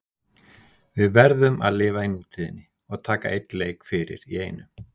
Við verðum að lifa í nútíðinni og taka einn leik fyrir í einu.